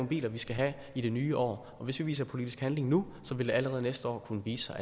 biler vi skal have i det nye år hvis vi viser politisk handling nu vil det allerede næste år kunne vise sig